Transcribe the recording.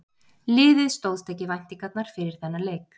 Liðið stóðst ekki væntingarnar fyrir þennan leik.